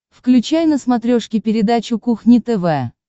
включай на смотрешке передачу кухня тв